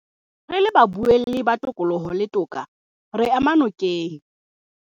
Re le baboulelli ba tokoloho le toka, re ema nokeng